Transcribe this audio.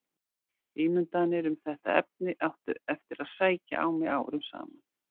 Ímyndanir um þetta efni áttu eftir að sækja á mig árum saman.